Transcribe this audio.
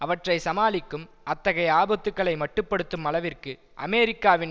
அவற்றை சமாளிக்கும் அத்தகைய ஆபத்துக்களை மட்டுப்படுத்தும் அளவிற்கு அமெரிக்காவின்